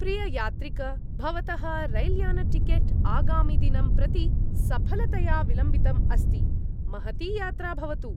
प्रिययात्रिक, भवतः रैल्यानटिकेट् आगामिदिनं प्रति सफलतया विलम्बितम् अस्ति, महती यात्रा भवतु।